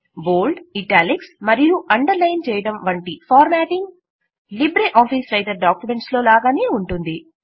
బోల్డ్ italics మరియు underline చేయడం వంటి formatting LibreOffice writer documents లో లాగానే ఉంటుంది